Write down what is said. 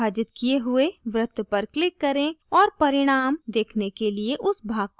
विभाजित किये हुए वृत्त पर click करें और परिणाम देखने के लिए उस भाग को एक तरफ रखें